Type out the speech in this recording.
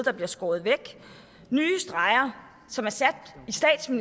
der bliver skåret væk nye streger som er sat